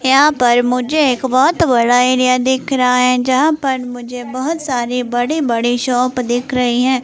यहां पर मुझे एक बहुत बड़ा एरिया दिख रहा है जहां पर मुझे बहुत सारी बड़ी बड़ी शॉप दिख रही हैं।